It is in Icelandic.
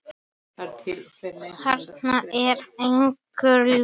Þarna er engu logið.